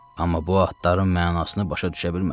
Amma bu adların mənasını başa düşə bilmədim.